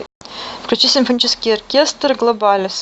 включи симфонический оркестр глобалис